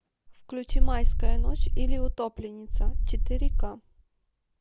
включи майская ночь или утопленница четыре ка